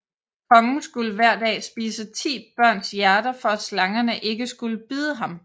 Kongen skulle hver dag spise 10 børns hjerter for at slangerne ikke skulle bide ham